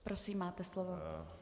Prosím, máte slovo.